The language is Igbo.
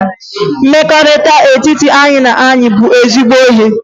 Ezi mmekọrịta n'etiti enyi na enyi bụ ezigbo ihe